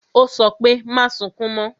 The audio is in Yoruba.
Ó sọ pé "Má sunkún mo"